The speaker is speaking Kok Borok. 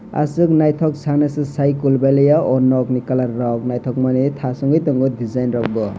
asuk nythok sana sei kulbalia aw nok in colour rok nythok mani thas ungui tongo design rok bo.